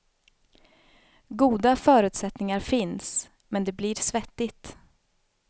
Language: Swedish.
Goda förutsättningar finns, men det blir svettigt.